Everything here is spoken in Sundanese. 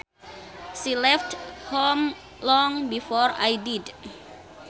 She left home long before I did